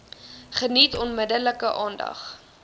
geniet onmiddellik aandag